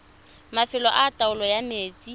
mafelo a taolo ya metsi